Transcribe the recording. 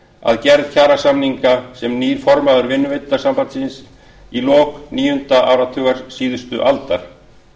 að gerð kjarasamninga sem nýr formaður vinnuveitendasambands íslands í lok níunda áratugar síðustu aldar